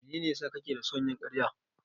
Mene ne ya sa kake da son yin karya?